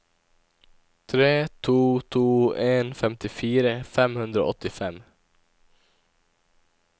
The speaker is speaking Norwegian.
tre to to en femtifire fem hundre og åttifem